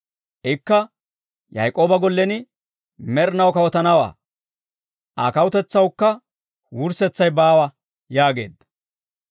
Ikka Yaak'ooba gollen med'inaw kawutanawaa; Aa kawutetsawukka wurssetsay baawa» yaageedda.